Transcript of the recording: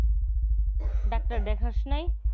doctor দেখাস নাই?